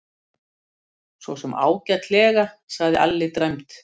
Sosum ágætlega, sagði Alli dræmt.